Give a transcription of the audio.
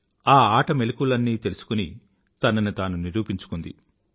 ఆ ఆట మెలుకువలన్నీ తెలుసుకుని తనని తాను నిరూపించుకుంది